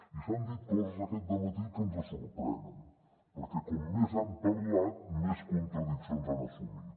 i s’han dit coses aquest dematí que ens sorprenen perquè com més han parlat més contradiccions han assumit